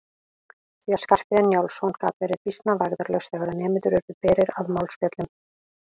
Því að Skarphéðinn Njálsson gat verið býsna vægðarlaus þegar nemendur urðu berir að málspjöllum.